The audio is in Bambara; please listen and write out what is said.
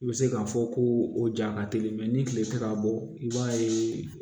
I bɛ se k'a fɔ ko o ja ka teli ni tile tɛ ka bɔ i b'a ye